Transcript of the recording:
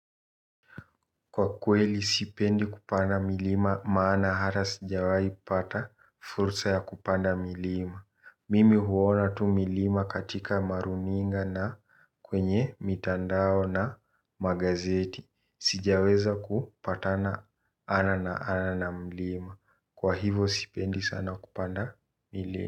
Kwa kweli sipendi kupanda milima maana hata sijawahi pata fursa ya kupanda milima Mimi huona tu milima katika maruninga na kwenye mitandao na magazeti. Sijaweza kupatana ana na ana na mlima. Kwa hivo sipendi sana kupanda milima.